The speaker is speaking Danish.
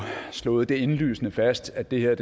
slået indlysende fast at det her er